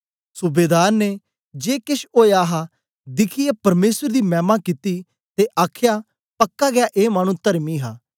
सूबेदार ने जे केछ ओया हा दिखियै परमेसर दी मैमा कित्ती ते आखया पक्का गै ए मानु तरमी हा